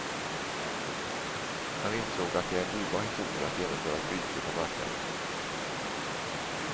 Han insåg att det är en dyrbar historia att genomföra ett byte på marknaden.